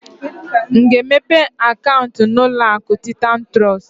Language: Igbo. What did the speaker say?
M ga-emepe akaunti na uloaku Titan Trust?